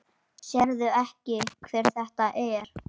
Sérðu ekki hver þetta er?